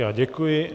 Já děkuji.